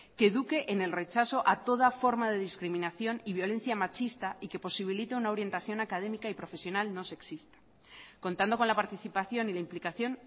que eduque en el rechazo a toda forma de discriminación y violencia machista y que posibilite una orientación académica y profesional no sexista contando con la participación y la implicación